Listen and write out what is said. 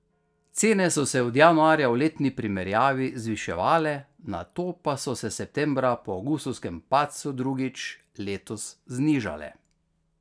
Cene so se od januarja v letni primerjavi zviševale, nato pa so se septembra po avgustovskem padcu drugič letos znižale.